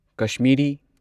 Kashmiri